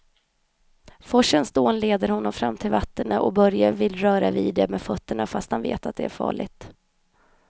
Forsens dån leder honom fram till vattnet och Börje vill röra vid det med fötterna, fast han vet att det är farligt.